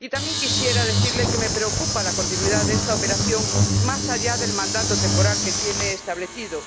También quisiera decirle que me preocupa la continuidad de esta operación más allá del mandato temporal que tiene establecido.